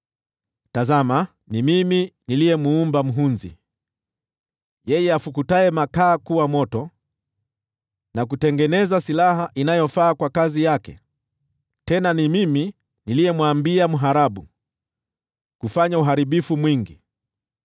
“Tazama, ni mimi niliyemuumba mhunzi, yeye afukutaye makaa kuwa moto, na kutengeneza silaha inayofaa kwa kazi yake. Tena ni mimi niliyemwambia mharabu kufanya uharibifu mwingi.